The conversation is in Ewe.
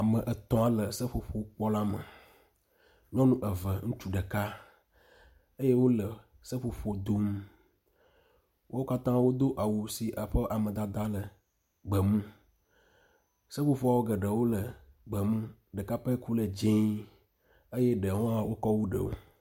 Ame etɔ̃ le seƒoƒo bɔ la me. Nyɔnu eve, ŋutsu ɖeka, eye wole seƒoƒo dom. Wo katã do awu si ƒe amadada le gbemu. Seƒoƒoa geɖewo le gbemu, ɖeka pɛ koe le dzɛ̃ eye ɖewo hã wokɔ wu ɖewo.